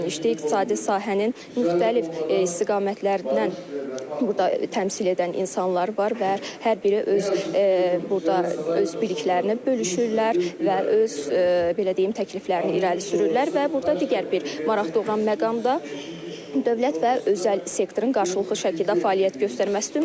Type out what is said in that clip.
İqtisadi sahənin müxtəlif istiqamətlərindən burda təmsil edən insanlar var və hər biri öz burda öz biliklərini bölüşürlər və öz belə deyim təkliflərini irəli sürürlər və burda digər bir maraq doğuran məqam da dövlət və özəl sektorun qarşılıqlı şəkildə fəaliyyət göstərməsidir.